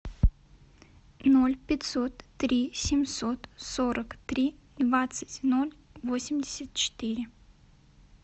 ноль пятьсот три семьсот сорок три двадцать ноль восемьдесят четыре